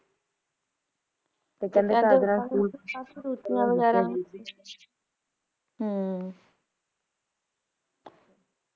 ਹਮਮ!